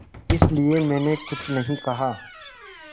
इसलिए मैंने कुछ नहीं कहा